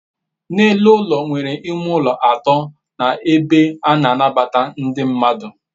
n'elu ulo e nwere ime ulo ato na ebe a na anabata ndi mmadu